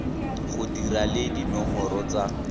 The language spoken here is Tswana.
di dira le dinomoro tsa